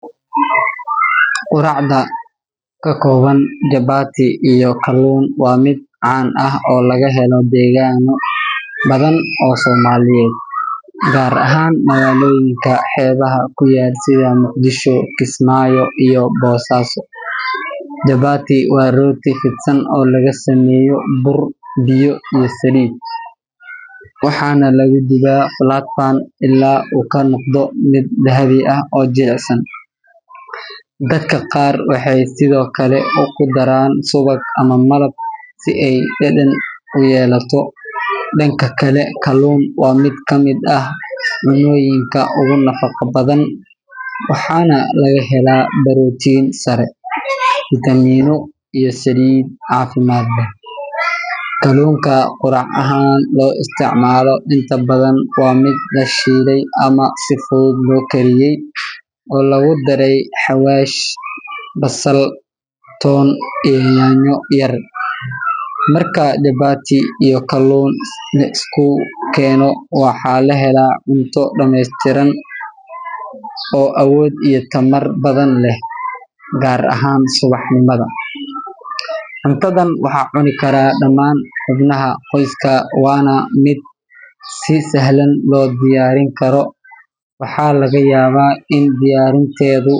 Quraacda ka kooban jabati iyo kaluun waa mid caan ah oo laga helo deegaano badan oo Soomaaliyeed, gaar ahaan magaalooyinka xeebaha ku yaal sida Muqdisho, Kismaayo iyo Boosaaso. Jabati waa rooti fidsan oo laga sameeyo bur, biyo iyo saliid, waxaana lagu dubaa flat pan ilaa uu ka noqdo mid dahabi ah oo jilicsan. Dadka qaar waxay sidoo kale ku daraan subag ama malab si ay dhadhan u yeelato. Dhanka kale, kaluun waa mid ka mid ah cunnooyinka ugu nafaqada badan, waxaana laga helaa borotiin sare, fiitamiino iyo saliid caafimaad leh. Kaluunka quraac ahaan loo isticmaalo inta badan waa mid la shiilay ama si fudud loo kariyay oo lagu daray xawaash, basal, toon iyo yaanyo yar. Marka jabati iyo kaluun la isugu keeno, waxaa la helaa cunto dhameystiran oo awood iyo tamar badan leh, gaar ahaan subaxnimada. Cuntadan waxaa cuni kara dhammaan xubnaha qoyska, waana mid si sahlan loo diyaarin karo. Waxaa laga yaabaa in diyaarinteedu.